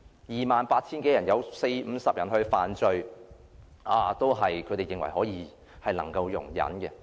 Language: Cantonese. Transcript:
二萬八千多人中有四五十人犯罪，他們認為是可以容忍的。